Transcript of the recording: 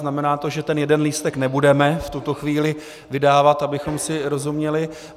Znamená to, že ten jeden lístek nebudeme v tuto chvíli vydávat, abychom si rozuměli.